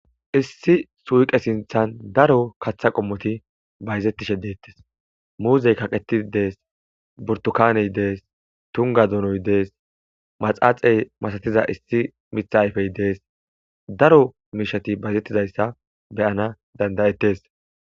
issi suuqe sinthan daro kaththa qommoti bayzettishe deettes muuzey kaqeti dees burtukaney dees tunga dunoy dees maxaaxey masatiza issi mitha ayfey dees daro mishati bayzettidayssa beyana dandayettes